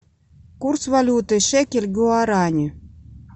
курс валюты шекель к гуарани